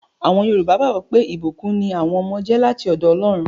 Àwọn yọrùbá gbàgbọ́ pé, ìbùkún ní àwọn ọmọ jẹ́ láti ọ̀dọ̀ Ọlọ́run